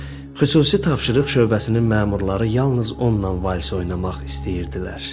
Xüsusi tapşırıq şöbəsinin məmurları yalnız onunla vals oynamaq istəyirdilər.